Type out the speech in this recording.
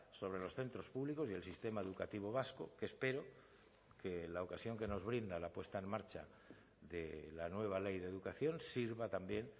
sobre los centros públicos y el sistema educativo vasco que espero que la ocasión que nos brinda la puesta en marcha de la nueva ley de educación sirva también